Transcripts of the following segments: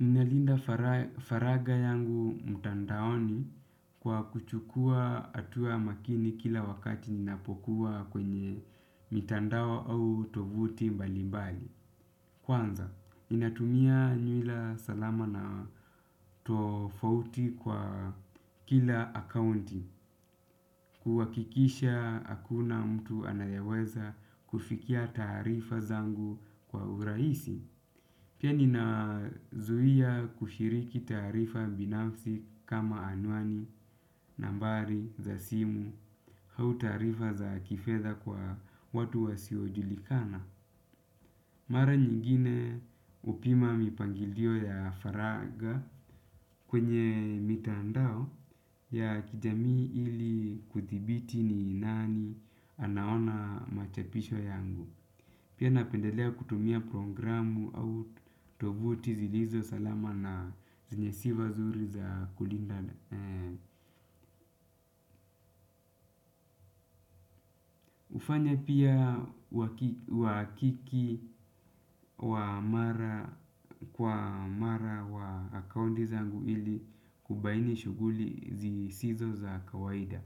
Ninalinda faragha yangu mtandaoni kwa kuchukua hatua makini kila wakati ninapokuwa kwenye mitandao au tovuti mbali mbali. Kwanza, ninatumia nywila salama na tofauti kwa kila akaunti, kuhakikisha hakuna mtu anayeweza kufikia taarifa zangu kwa urahisi. Pia ninazuia kushiriki taarifa binafsi kama anwani, nambari, za simu, au taarifa za kifedha kwa watu wasiojulikana. Mara nyingine hupima mipangilio ya faragha kwenye mitandao ya kijamii ili kuthibiti ni nani anaona machapisho yangu. Pia napendelea kutumia programu au tovuti zilizo salama na zenye sifa zuri za kulinda hufanya pia uhakiki wa mara kwa mara wa akaunti zangu ili kubaini shughuli zisizo za kawaida.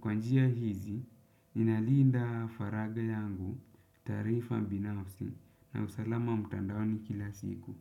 Kwa njia hizi, ninalinda faragha yangu taarifa binafsi na usalama mtandaoni kila siku.